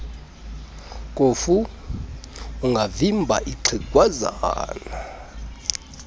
kofu ungavimba ixhegwazana